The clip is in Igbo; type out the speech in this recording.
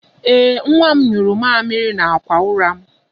Ee, nwa m nyụrụ mamịrị n'akwa ụra m.